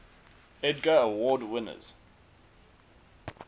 edgar award winners